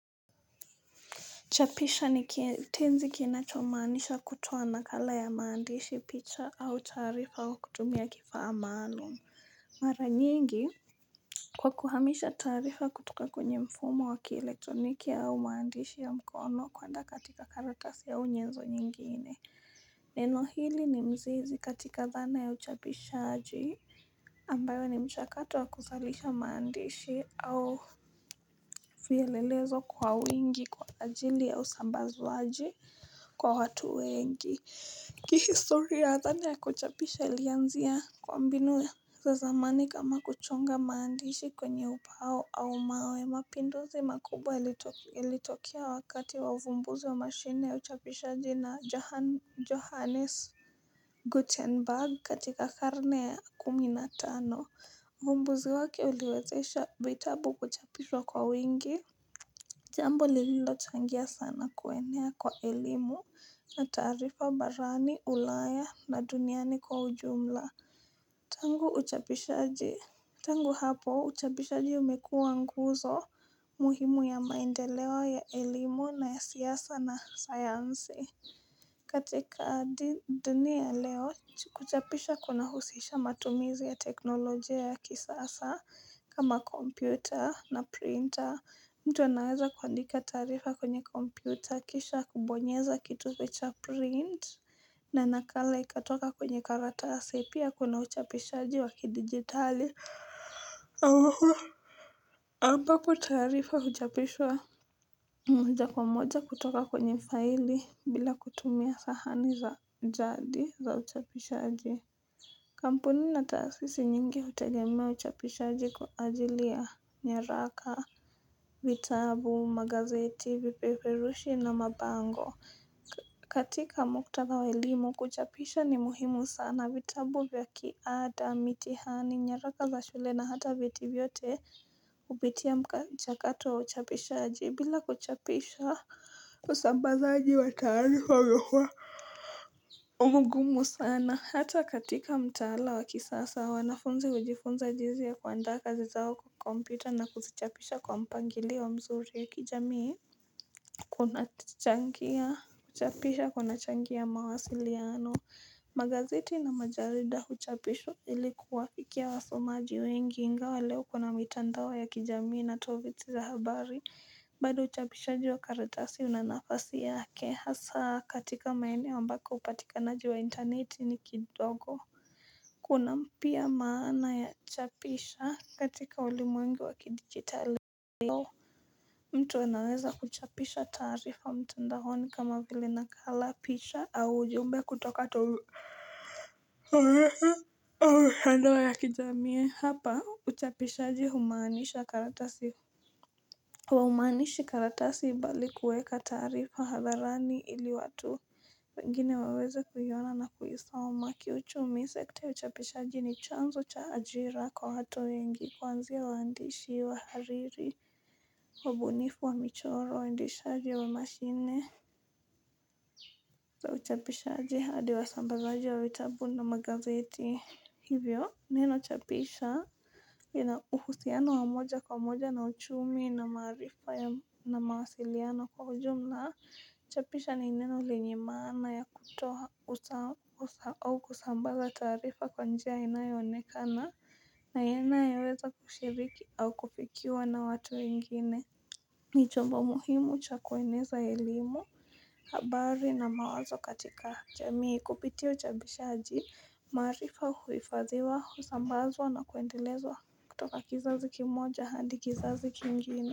Chapisha ni tenzi kinacho maanisha kutuwa nakala ya maandishi, picha au tarifa wa kutumia kifa amano. Mara nyingi kwa kuhamisha tarifa kutuka kwenye mfumo wa kielektroniki au maandishi ya mkono kuanda katika karatasi ya unyezo nyingine. Neno hili ni mzizi katika dhana ya uchapishaji ambayo ni mchakatu wa kuthalisha maandishi au fielelezo kwa wingi kwa ajili ya usambazuaji kwa watu wengi. Kihistori ya adhani ya kuchapisha ilianzia kwa mbinu za zamani kama kuchonga maandishi kwenye upao au mawe mapinduzi makubwa ilitokia wakati wa vumbuzi wa mashine uchapisha jina johannes Guttenberg katika karne kumi na tano vumbuzi waki uliwezesha vitabu kuchapishwa kwa wingi Jambo liilo changia sana kuwenea kwa ilimu na tarifa barani, ulaya na duniani kwa ujumla. Tangu hapo, utapishaji umekuwa nguzo muhimu ya maendelewa ya elimu na siyasa na sayansi. Katika dini ya leo kuchapisha kuna husisha matumizi ya teknolojia ya kisasa kama kompyuta na printer mtu anaweza kuandika taarifa kwenye kompyuta kisha kubonyeza kituwecha print na nakala ikatoka kwenye karatasi pia kunauchapisha jiwa kidigitali ambapo kutaharifa uchapishwa moja kwa moja kutoka kwenye faili bila kutumia sahani za jadi za uchapishaji kampuni na taasisi nyingi hutegemea uchapishaji kwa ajili ya nyaraka, vitabu, magazeti, vipeperushi na mabango katika mkutaka wa ilimu kuchapisha ni muhimu sana vitabu vya kiada mitihani nyaraka za shule na hata biti vyote upitia ya mchakato wa uchapisha aji bila kuchapisha kusambazaji wa taani wawewa Umgumu sana hata katika mtaala wa kisasa wa wanafunzi ujifunza jizi ya kuandaa kazi zao kukompita na kuzichapisha kwa mpangili wa mzuri kijamii Kuna changia kuchapisha kuna changia mawasili ya ano Magaziti na majarida huchapisho ilikuwa fikia wasomaji wengi ingawa leo kuna mitandawa ya kijamii na toviti za habari bado huchapisha jiwa karitasi unanafasi yake hasa katika maene wa mbaka upatikanaji wa interneti ni kidogo Kuna mpia maana ya chapisha katika ulimwengu wa kidigitali mtu anaweza kuchapisha taarifa mtendaoni kama gili nakala pisha au ujumbe kutoka tolu. Owezi awa handawa ya kijamii hapa uchapishaji humaanisha karatasi humaanishi karatasi bali kueka tarifa haadharani ili watu wengine weweze kuywana na kuisoma kiuchumi sekta uchapishaji ni chanzo cha ajira kwa hato yengi kwanzia waandishi wa hariri Wabunifu wa michoro ndishaji wa mashine za uchapishaji hadi wa sambazaji wa witabundo magazeti Hivyo neno chapisha yena uhusiano wa moja kwa moja na uchumi na maarifa na mawasiliano kwa ujumla chapisha ni neno linimana ya kutoa au kusambasa tarifa kwa njia inayonekana na yena yaweza kushiriki au kupikiuwa na watu ingine Nijomba muhimu chakweneza ilimu, habari na mawazo katika haja. Jamii kupitio chabishaji marifa huifaziwa husambazwa na kuendelezwa kutoka kizazi kimoja handi kizazi kingine.